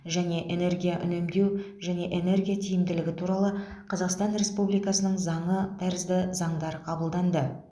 және энергия үнемдеу және энергия тиімділігі туралы қазақстан республикасының заңы тәрізді заңдар қабылданды